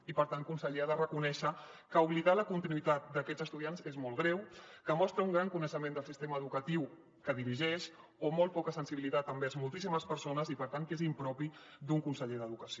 i per tant conseller ha de reconèixer que oblidar la continuïtat d’aquests estudiants és molt greu que mostra un gran desconeixement del sistema educatiu que dirigeix o molt poca sensibilitat envers moltíssimes persones i per tant és impropi d’un conseller d’educació